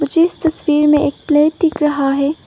जिस तस्वीर में एक प्लेट दिख रहा है।